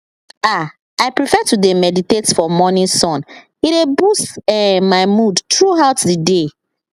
ah i prefer to dey meditate for morning sun e dey boost ehm my mood throughout the day